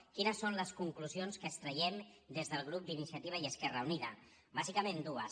quines són les conclusions que extraiem des del grup d’iniciativa i esquerra unida bàsicament dues